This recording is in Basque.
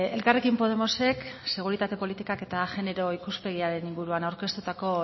elkarrekin podemosek seguritate politikak eta genero ikuspegiaren ingurua aurkeztutako